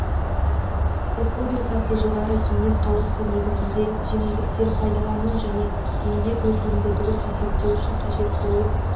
республикасы жоғарғы кеңес қаулысы негізінде жеңілдіктер пайдалану және еңбек өтілімді дұрыс есептеу үшін қажет болып